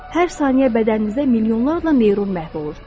Hər saniyə bədəninizdə milyonlarla neyron məhv olur.